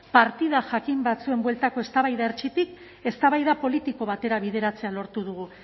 partida jakin batzuen bueltako eztabaida hertsitik eztabaida politiko batera bideratzea lortu dugu